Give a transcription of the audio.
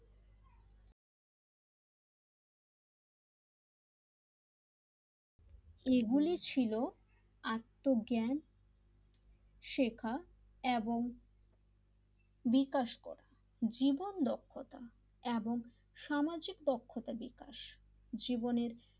এইগুলি ছিল আত্মজ্ঞান শেখা এবং বিকাশ করা জীবন দক্ষতা এবং সামাজিক পক্ষতা বিকাশ জীবনের,